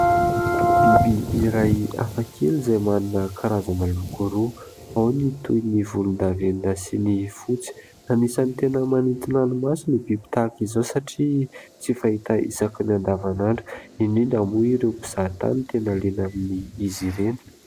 Biby iray hafa kely : izay manana karazana loko roa ao ny toy ny volondavenona sy ny fotsy, anisan'ny tena manintona ny maso ny biby tahaka izao ; satria tsy fahita isakiny andavanandro indrindra moa ireo mpizahatany tena liana amin' izy ireny.